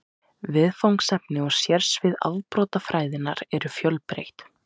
Viðfangsefni og sérsvið afbrotafræðinnar eru fjölbreytt.